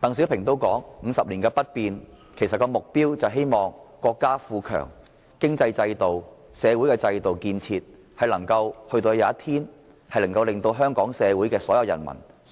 鄧小平所說的 "50 年不變"，目標其實是希望待國家富強後，國內的經濟制度、社會制度和建設終有一天能令香港所